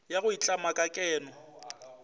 ya go itlama ka keno